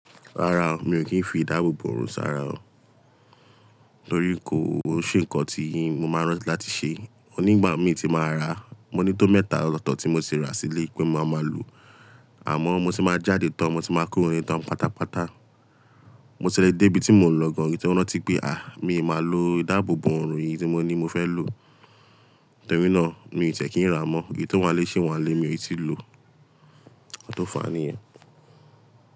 Rárá o, mi ò kí ń fi ìdáàbòbò ọ̀rùn sàrà o, torí kò ó ṣe nǹkan tí mo máa rántí láti ṣe. Òní ìgbà mi tí màá rà, mo ní tó mẹ́ta ọtọ́tọ̀ tí mo sì rà sílé pé ma máa lò, àmọ́ mo sì máa jáde tán mo tì máa kuro lẹ tán pátápátá. Mo tì le dé ibi tí mò ń lọ gan, kí n tó rántí pé à, mi o máa lò ìdáàbòbò ọ̀rùn yìí tí mo ní mo fẹ́ lò. Nítorínà mi ò tẹ̀ kí n rà mọ́. Èyí tó wá lé ṣi wá lé, mi ò tí lò. N tó fa ní yẹn.